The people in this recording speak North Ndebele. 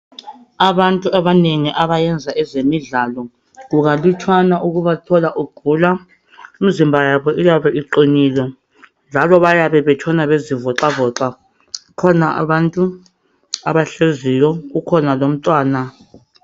Abantu abanengi abayenza ezemidlalo kukalutshwana kubathola begula, imizimba yabo iyabe iqinile njalo bayabe betshona bezivoxavoxa. Kukhona abantu abahleziyo kukhona lomntwana.